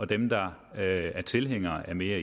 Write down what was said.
dem der er tilhængere af mere